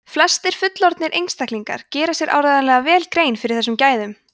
flestir fullorðnir einstaklingar gera sér áreiðanlega vel grein fyrir þessum gæðum